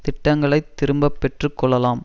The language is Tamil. திட்டங்களை திரும்ப பெற்று கொள்ளலாம்